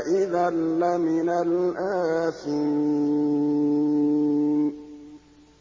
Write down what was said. إِذًا لَّمِنَ الْآثِمِينَ